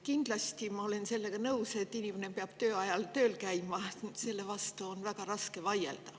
Kindlasti ma olen sellega nõus, et inimene peab töö ajal tööl käima, selle vastu on väga raske vaielda.